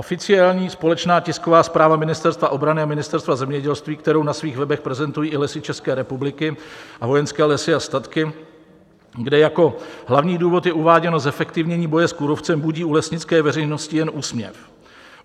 Oficiální společná tisková zpráva Ministerstva obrany a Ministerstva zemědělství, kterou na svých webech prezentují i Lesy České republiky a Vojenské lesy a statky, kde jako hlavní důvod je uváděno zefektivnění boje s kůrovcem, budí u lesnické veřejnosti jen úsměv.